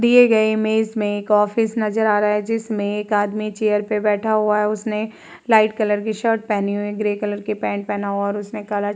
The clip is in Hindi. दिए गए इमेज में एक ऑफिस नजर आ रहा है। जिसमे एक आदमी चेयर पर बैठा हुआ है उसने लाइट कलर के शर्ट पहनी हुई और ग्रे कलर पैंट पहना हुआ है और उसने काला --